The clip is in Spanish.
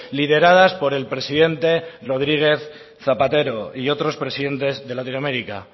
lideradas por el presidente rodríguez zapatero y otros presidentes de latinoamérica